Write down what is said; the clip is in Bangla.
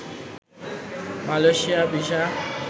Malaysia visa